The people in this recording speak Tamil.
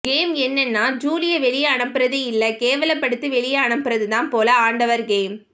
கேம் என்னன்னா ஜூலிய வெளிய அனுப்புறது இல்ல கேவலபடுத்து வெளிய அனுப்புறதுதான் போல ஆண்டவர் கேம்